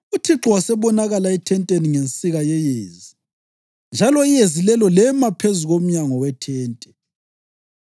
UThixo wasebonakala ethenteni ngensika yeyezi, njalo iyezi lelo lema phezu komnyango wethente.